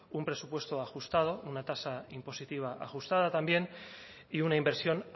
un presupuesto ajustado una tasa impositiva ajustada también y una inversión